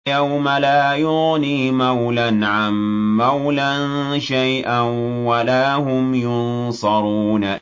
يَوْمَ لَا يُغْنِي مَوْلًى عَن مَّوْلًى شَيْئًا وَلَا هُمْ يُنصَرُونَ